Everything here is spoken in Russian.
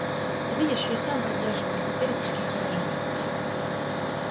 ты видишь я сам воздерживаюсь теперь от таких выражений